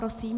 Prosím.